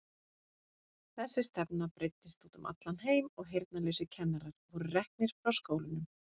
Þessi stefna breiddist út um allan heim og heyrnarlausir kennarar voru reknir frá skólunum.